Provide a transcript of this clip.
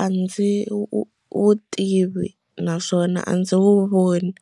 a ndzi wu wu tivi naswona a ndzi wu voni.